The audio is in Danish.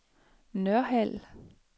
Nørhald